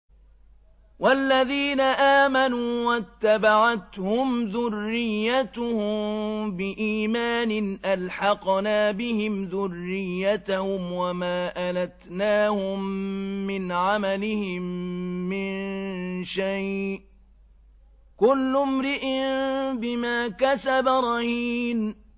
وَالَّذِينَ آمَنُوا وَاتَّبَعَتْهُمْ ذُرِّيَّتُهُم بِإِيمَانٍ أَلْحَقْنَا بِهِمْ ذُرِّيَّتَهُمْ وَمَا أَلَتْنَاهُم مِّنْ عَمَلِهِم مِّن شَيْءٍ ۚ كُلُّ امْرِئٍ بِمَا كَسَبَ رَهِينٌ